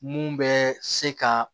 Mun bɛ se ka